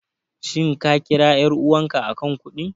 Shin ka kira ƴar'uwarka a kan kuɗin?